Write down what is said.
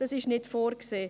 Das ist nicht vorgesehen.